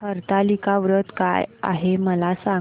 हरतालिका व्रत काय आहे मला सांग